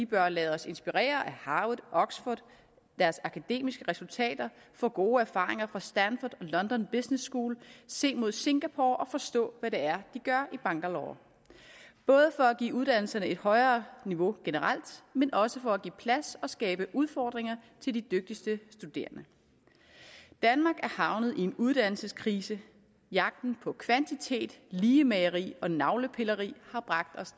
bør lade os inspirere af harvard og oxford og deres akademiske resultater få gode erfaringer fra stanford london business school se mod singapore og forstå hvad det er de gør i bangalore både for at give uddannelserne et højere niveau generelt men også for at give plads og skabe udfordringer til de dygtigste studerende danmark er havnet i en uddannelseskrise jagten på kvantitet ligemageri og navlepilleri har bragt os